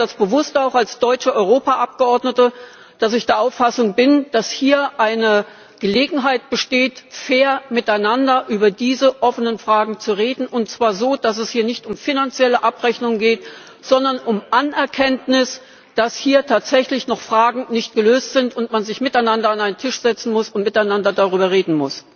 Ich sage bewusst auch als deutsche Europaabgeordnete, dass ich der Auffassung bin, dass hier eine Gelegenheit besteht, fair miteinander über diese offenen Fragen zu reden, und zwar so, dass es hier nicht um finanzielle Abrechnung geht, sondern um die Anerkenntnis, dass hier tatsächlich noch Fragen nicht gelöst sind und man sich miteinander an einen Tisch setzen muss und miteinander darüber reden muss.